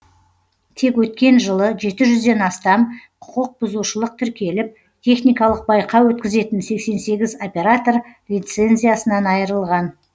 тек өткен жылы жеті жүзден астам құқық бұзушылық тіркеліп техникалық байқау өткізетін сексен сегіз оператор лицензиясынан айырылған